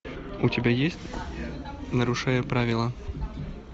у тебя есть нарушая правила